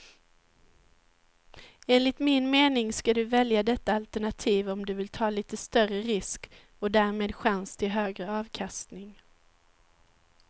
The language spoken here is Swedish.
Enligt min mening ska du välja detta alternativ om du vill ta lite större risk och därmed chans till högre avkastning.